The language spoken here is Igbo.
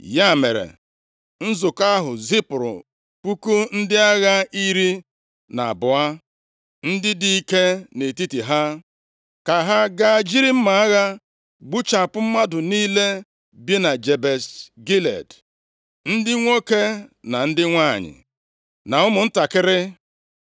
Ya mere, nzukọ ahụ zipụrụ puku ndị agha iri na abụọ, ndị dị ike nʼetiti ha, ka ha gaa jiri mma agha gbuchapụ mmadụ niile bi na Jebesh Gilead, ndị nwoke, na ndị nwanyị, na ụmụntakịrị.